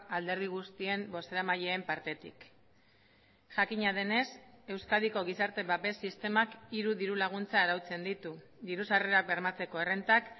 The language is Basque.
alderdi guztien bozeramaileen partetik jakina denez euskadiko gizarte babes sistemak hiru diru laguntza arautzen ditu diru sarrerak bermatzeko errentak